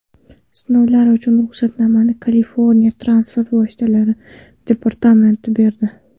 Sinovlar uchun ruxsatnomani Kaliforniya transport vositalari departamenti berdi.